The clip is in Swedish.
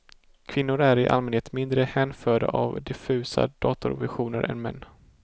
Kvinnor är i allmänhet mindre hänförda av diffusa datorvisioner än män.